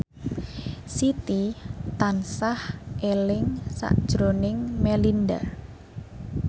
Siti tansah eling sakjroning Melinda